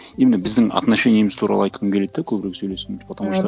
именно біздің отношениеміз туралы айтқым келеді да көбірек сөйлескім потому что